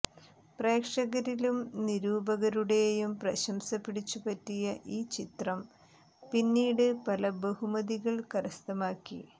പ്രേക്ഷകരിലും നിരൂപകരുടെയും പ്രശംസ പിടിച്ചുപറ്റിയ ഈ ചിത്രം പിന്നീട് പല ബഹുമതികൾ കരസ്ഥമാക്കി